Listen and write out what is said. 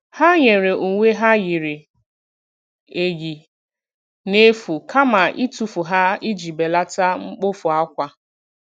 Ha nyere uwe ha yiri eyi n'efu kama itufu ha iji belata mkpofu akwa.